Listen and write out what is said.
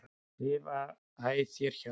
lifa æ þér hjá.